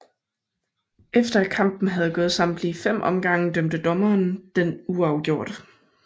Efter at kampen havde gået samtlige 5 omgange dømte dommerne den uafgjort